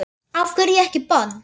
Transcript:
Af hverju ekki bann?